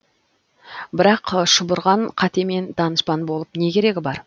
бірақ шұбырған қатемен данышпан болып не керегі бар